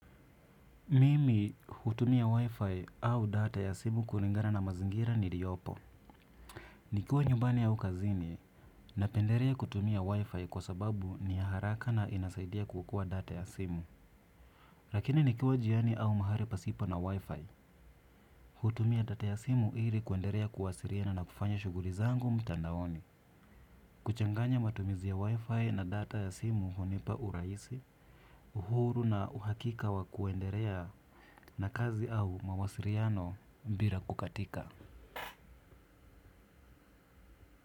Mimi hutumia wi-fi au data ya simu kulingana na mazingira ni liyopo. Nikiwa nyumbani au kazini, napenderea kutumia wi-fi kwa sababu ni ya haraka na inasaidia kukoa data ya simu. Lakini nikiwa jiani au mahari pasipo na wi-fi. Hutumia data ya simu ili kuenderea kuwasiriana na kufanya shuguri zangu mtandaoni. Kuchanganya matumizi ya wi-fi na data ya simu hunipa uraisi, uhuru na uhakika wa kuenderea na kazi au mawasiriano mbira katika.